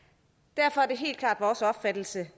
derfor er det helt klart vores opfattelse